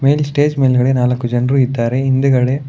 ಇಲ್ ಸ್ಟೇಜ್ ಮೇಲೆಗಡೆ ನಾಲ್ಕು ಜನರು ಇದ್ದಾರೆ ಹಿಂದುಗಡೆ --